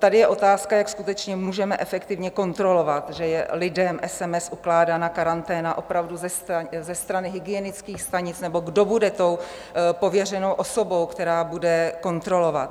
Tady je otázka, jak skutečně můžeme efektivně kontrolovat, že je lidem SMS ukládána karanténa opravdu ze strany hygienických stanic, nebo kdo bude tou pověřenou osobou, která bude kontrolovat.